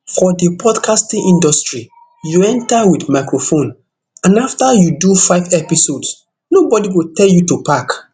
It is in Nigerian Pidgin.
for di podcasting industry you enta wit microphone and afta you do five episodes nobodi go tell you to pack